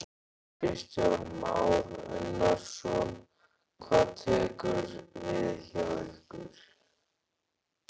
Kristján Már Unnarsson: Hvað tekur við hjá ykkur?